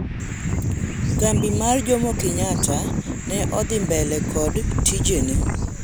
Kambi mar Jomokenyatta ne odhi mbele kod tijene